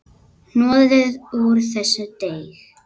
Hnoðið úr þessu deig.